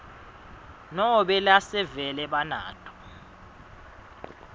nobe lasevele banato